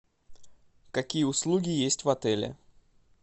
какие услуги есть в отеле